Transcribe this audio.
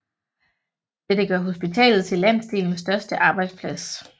Dette gør hospitalet til landsdelens største arbejdsplads